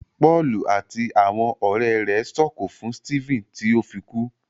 Pọọlù àti àwọn ọrẹ rẹ s'oko fún Stephen ti o fí kú.